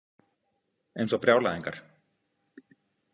Eins og brjálæðingar.